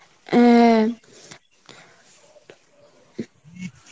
অ্যাঁ